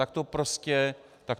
Tak to prostě není.